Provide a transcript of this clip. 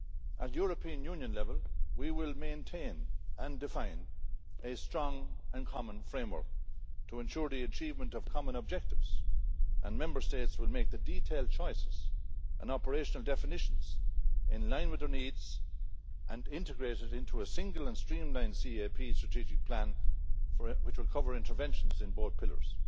At European Union level we will maintain and define a strong and common framework to ensure the achievement of common objectives, and Member States will make the detailed choices and operational definitions, in line with their needs and integrated into a single and streamlined CAP strategic plan which will cover interventions in both pillars.